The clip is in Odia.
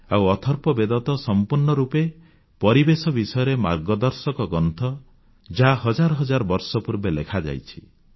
ଆଉ ଅଥର୍ବବେଦ ତ ସମ୍ପୂର୍ଣ୍ଣ ରୂପେ ପରିବେଶ ବିଷୟରେ ମାର୍ଗଦର୍ଶକ ଗ୍ରନ୍ଥ ଯାହା ହଜାର ହଜାର ବର୍ଷ ପୂର୍ବେ ଲେଖାଯାଇଛି